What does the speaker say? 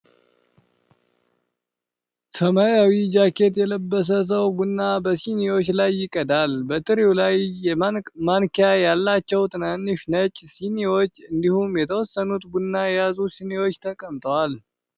ሰማያዊ ጃኬት የለበሰ ሰው ቡና በሲኒዎች ላይ ይቀዳል። በትሪው ላይ ማንኪያ ያላቸው ትናንሽ ነጭ ሲኒዎች፣ እንዲሁም የተወሰኑት ቡና የያዙ ሲኒዎች ተቀምጠዋል።